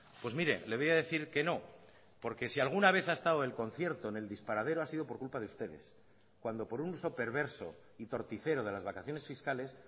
pues mire le voy a decir que no porque si alguna vez ha estado el concierto en el disparadero ha sido por culpa de ustedes cuando por un uso perverso y torticero de las vacaciones fiscales